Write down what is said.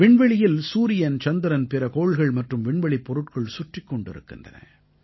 விண்வெளியில் சூரியன் சந்திரன் பிற கோள்கள் மற்றும் விண்வெளிப் பொருட்கள் சுற்றிக் கொண்டிருக்கின்றன